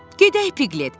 "Gedək, Piqlet."